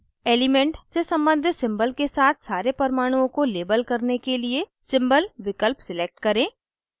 element से सम्बंधित symbol के साथ सारे परमाणुओं को label करने के लिए symbol विकल्प select करें